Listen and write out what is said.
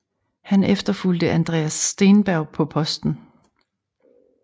Han efterfulgte Andreas Steenberg på posten